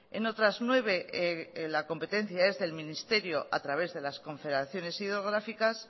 de otras nueve la competencia es del ministerio a través de las confederaciones hidrográficas